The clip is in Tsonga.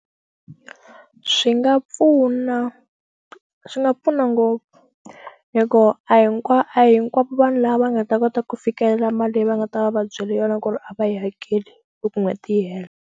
Swi nga pfuna swi nga pfuna ngopfu hi ku a hi kwa a hinkwavo vanhu lava nga ta kota ku fikelela mali leyi va nga ta va va byele yona ku ri a va yi hakeli loko n'hweti yi hela.